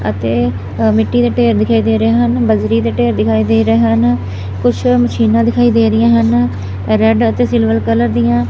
ਅਤੇ ਮਿੱਟੀ ਦੇ ਢੇਰ ਦਿਖਾਈ ਦੇ ਰਹੇ ਹਨ ਬਜਰੀ ਦੇ ਢੇਰ ਦਿਖਾਈ ਦੇ ਰਹੇ ਹਨ ਕੁਛ ਮਸ਼ੀਨਾਂ ਦਿਖਾਈ ਦੇ ਰਹੀਆਂ ਹਨ ਰੈਡ ਅਤੇ ਸਿਲਵਰ ਕਲਰ ਦੀਆਂ।